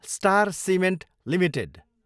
star cement Ltd